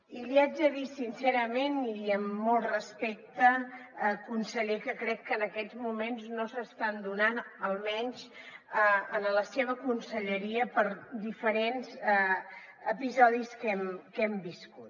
i li haig de dir sincerament i amb molt respecte conseller que crec que en aquests moments no s’estan donant almenys en la seva conselleria per diferents episodis que hem viscut